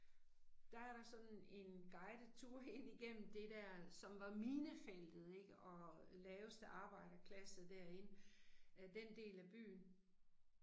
Der er der sådan en guidet tour ind igennem det der, som var minefeltet ik, og laveste arbejderklasse der ik den del af byen